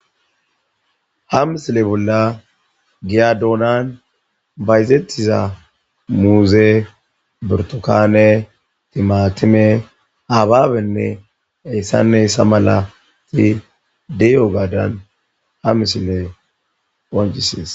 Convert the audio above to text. Ha misile bolla giya donan bayzetiza muuze, burtukanne , timatime,hababenne h.h.m de'iyogadan ha misiley qoncises.